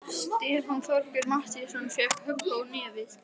Stefán Þorgeir Matthíasson fékk högg á nefið.